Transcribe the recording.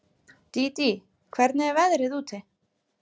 Dídí, hvernig er veðrið úti?